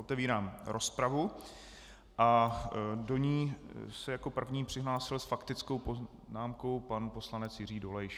Otevírám rozpravu a do ní se jako první přihlásil s faktickou poznámkou pan poslanec Jiří Dolejš.